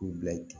K'u bila i kun